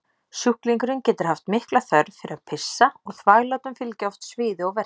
Sjúklingurinn getur haft mikla þörf fyrir að pissa og þvaglátum fylgja oft sviði og verkir.